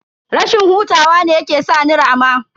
Rashin hutawa ne yake sa ni rama.